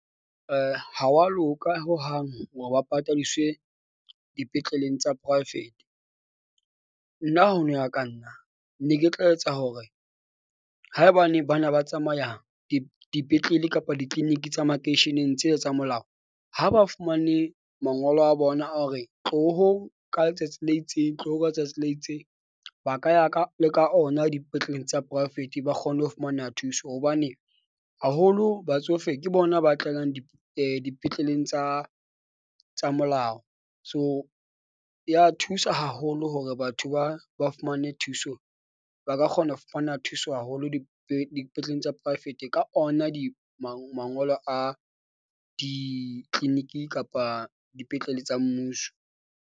Ha wa loka hohang hore ba patadiswe dipetleleng tsa poraefete, nna ho no ya ka nna. Ne ke tla etsa hore haebane ba na ba tsamaya di dipetlele kapa di-clinic tsa makeisheneng tse tsa molao. Ha ba fumane mangolo a bona a hore tloho ka letsatsi le itseng tloho ka letsatsi le itseng. Ba ka ya ka le ka ona dipetleleng tsa poraefete ba kgone ho fumana thuso, hobane haholo batsofe ke bona ba tlalang dipetleleng tsa tsa molao. So, ya thusa haholo hore batho ba ba fumane thuso, ba ka kgona ho fumana thuso haholo dipetleleng tsa poraefete ka ona di mangolo a di-clinic kapa dipetlele tsa mmuso.